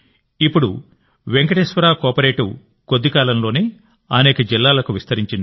ఇప్పుడు వెంకటేశ్వర కోఆపరేటివ్ కొద్దికాలంలోనే అనేక జిల్లాలకు విస్తరించింది